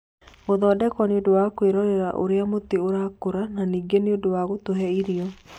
Gũthondekwo nĩ ũndũ wa kwĩrorera ũrĩa mũtĩ ũrakũra na ningĩ nĩ ũndũ wa gũtũhe irio.